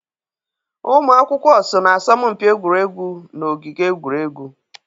Ụmụ akwụkwọ so na asọmpi egwuregwu na ogige egwuregwu.